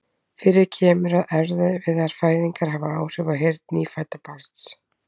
Fyrir kemur að erfiðar fæðingar hafa áhrif á heyrn hins nýfædda barns.